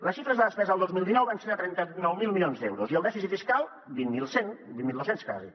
les xifres de la despesa al dos mil dinou van ser de trenta nou mil milions d’euros i el dèficit fiscal vint mil cent vint mil dos cents quasi